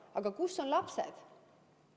Aga kus on lapsed?